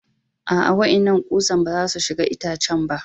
Aa, wa'inan kusan ba za su shiga itacen ba.